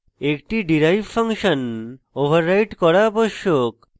একটি derive function override করা আবশ্যক